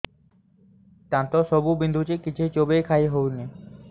ଦାନ୍ତ ସବୁ ବିନ୍ଧୁଛି କିଛି ଚୋବେଇ ଖାଇ ହଉନି